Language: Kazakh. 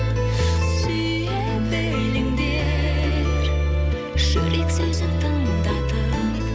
сүйе біліңдер жүрек сезім тыңдатып